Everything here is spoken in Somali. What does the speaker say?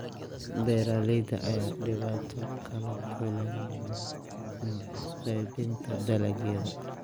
Beeraleyda ayaa dhibaato kala kulma qeybinta dalagyada.